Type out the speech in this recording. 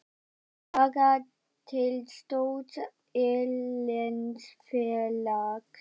Að fara til stórs erlends félags?